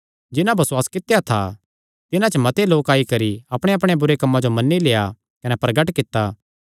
जिन्हां बसुआस कित्या था तिन्हां च मते लोक आई करी अपणेयांअपणेयां बुरे कम्मां जो मन्नी लेआ कने प्रगट कित्ता